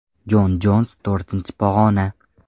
Jon Jons to‘rtinchi pog‘ona.